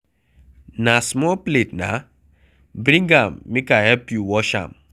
Na small plate na, bring am make I help you wash am